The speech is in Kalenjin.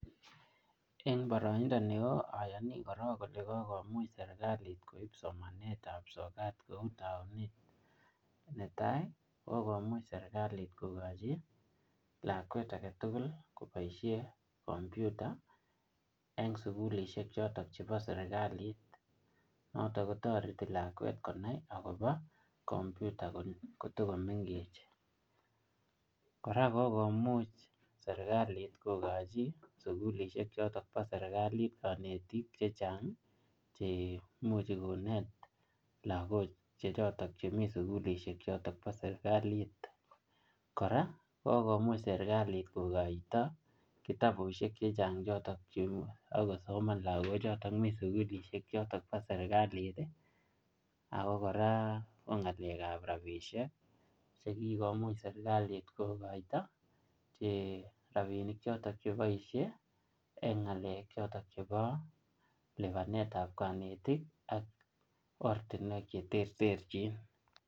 Eng boroindo neo, ayani korok kole kokomuch serkilat koib somanetab sokat kou taunet. Ne tai, kokomuch serikalit kokochi lakwet age tugul koboisie kompyuta eng' sukulishek chotok chebo serikalit. Notok kotoreti lakwet konai akobo kompyuta kotikomengech. Kora kokomuch serikalit kokochi sukulisiek chotok bo serikalit kanetik chechang', che imuchi konet lagok che chotok chemi sukulisiek chotok bo serikalit. Kora, kokomuch serikalit kokoito kitabusiek chechang' chotok che akosoman lagok chotok mi sukulisiek chotok bo serikalit. Ako kora, ko ngalekab rabisiek, che kikomuch serikalit kokoito, che rabinik chotok che boisie eng ngalek chotok bo lipanetab kanetik ak ortinwek che tereterchin.